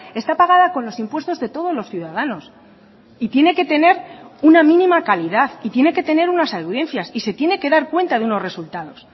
está pagada con los impuestos de todos los ciudadanos y tiene que tener una mínima calidad y tiene que tener unas audiencias y se tiene que dar cuenta de unos resultados